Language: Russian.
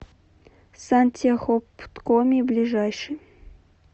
сантехопткоми ближайший